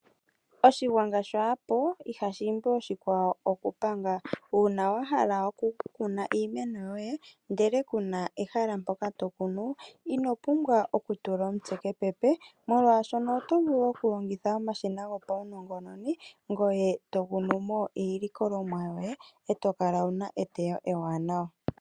Oshigwanga kashipo ihashi imbi oshikwawo okupanga. Uuna wahala oku kuna iimeno yoye ndele kuna ehala mpoka tokunu inopumbwa okutula omutse kepepe ,molwaashoka otovulu oku longitha omashina gopawunongononi ngoye tokunumo iilikolomwa yoye eto kala wuna eteyo ewanawa.